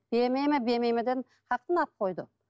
бермеймін бермеймін дедім алып қойды